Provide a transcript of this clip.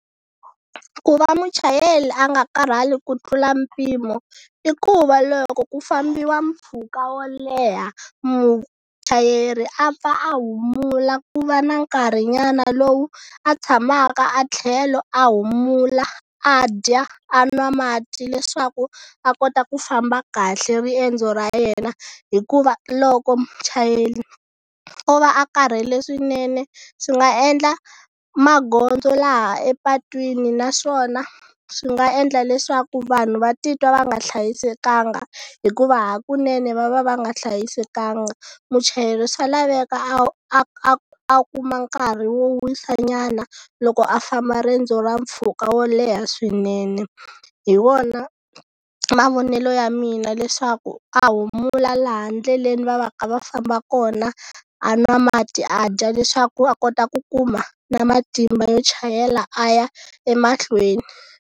Ku va muchayeri a nga karhali ku tlula mpimo i ku va loko ku fambiwa mpfhuka wo leha muchayeri a pfa a humula ku va na nkarhi nyana lowu a tshamaka a tlhelo a humula a dya a nwa mati leswaku a kota ku famba kahle riendzo ra yena hikuva loko muchayeri o va a karhele swinene swi nga endla magondzo laha epatwini naswona swi nga endla leswaku vanhu va titwa va nga hlayisekanga hikuva hakunene va va va nga hlayisekanga muchayeri swa laveka a a a a kuma nkarhi wo wisa nyana loko a famba riendzo ra mpfhuka wo leha swinene. Hi wona mavonelo ya mina leswaku a humula laha ndleleni va va ka va famba kona a nwa mati a dya leswaku a kota ku kuma na matimba yo chayela a ya emahlweni.